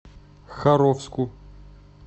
харовску